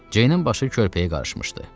Ceynin başı körpəyə qarışmışdı.